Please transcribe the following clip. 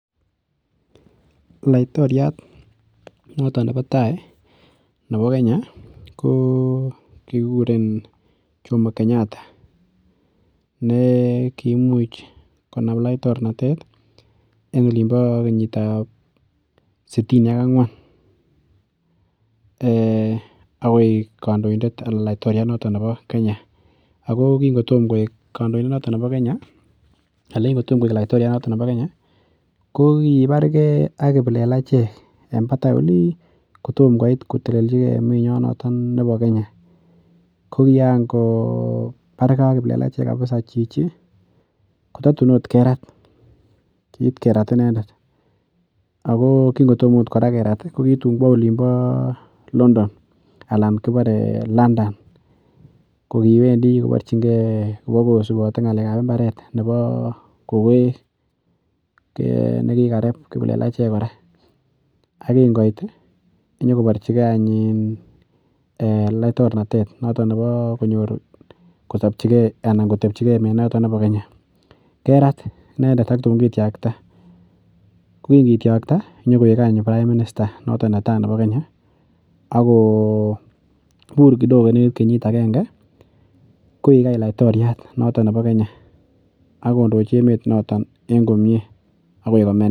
Laiktoriat notok nepo tai, nepo Kenya ko kikuren Jomo Kenyatta ne kiimuch konam laiktornatet eng' olin po kenyit ap sitini ak ang'wan akoik kandoindet, notok laiktoriat nepo Kenya. Ako kingo toma koek laiktoriat notok nepo Kenya ko kipargei ak kiplelachek en tapan olin kptoma koit kolelchi emet nyo notok nepo Kenya. Ko kiangopargei ak kiplelachek akipsa chichi kotatu agot kerat, kiit kerat inendet. Ako kingo toma agot kora kerat ko kitun kowa olin pa London. Ko kiwendi koparchingei, kopa kosupati ng'alek ap mbaret nepo kowek ne kikarep kiplelachek kora. Ako kingoit nyukoparchigei laiktornanetet notok nepo konyor kosapchigei anan kotepchigei menotok po keny, kerat i endet ak tuun kitiakta. Ko kingitiakta nyu koek any prime minister notok ne tai nepo Kenya ak ko pur kidogo any kenyit agenge koik any laiktoryat notok nepo Kenya ak kondochi emonotok komye akoi kome inendet.